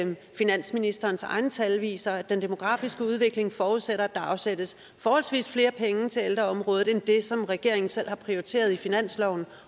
finansministerens egne tal viser at den demografiske udvikling forudsætter at der afsættes flere penge til ældreområdet end det som regeringen selv har prioriteret i finansloven